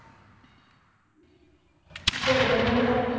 ਫੇਰ ਡੇਡ ਵਜੇ ਤੱਕ